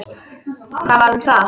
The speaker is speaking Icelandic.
Hvað varð um það?